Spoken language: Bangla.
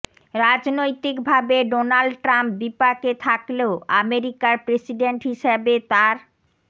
রাজনৈতিকভাবে ডোনাল্ড ট্রাম্প বিপাকে থাকলেও আমেরিকার প্রেসিডেন্ট হিসেবে তাঁর